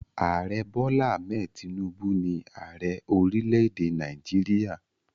Ààrẹ Bola Hammed Tinubu ni ààrẹ orílẹ̀-èdè Nàìjíríà.